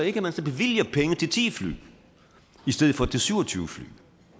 ikke at man så bevilger penge til ti fly i stedet for til syv og tyve fly